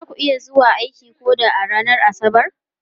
Za ku iya zuwa aiki ko da a ranar Asabar?